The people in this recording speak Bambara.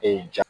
ja